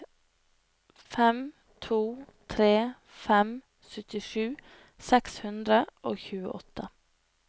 fem to tre fem syttisju seks hundre og tjueåtte